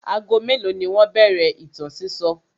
Ago mélòó ni wọ́n bẹ̀rẹ̀ ìtàn sísọ?